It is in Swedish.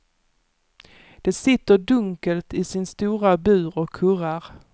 De sitter dunkelt i sin stora bur och kurrar.